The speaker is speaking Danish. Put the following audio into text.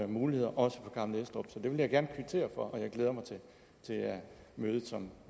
muligheder også for gammel estrup det vil jeg gerne kvittere for og jeg glæder mig til det møde som